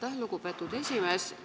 Aitäh, lugupeetud esimees!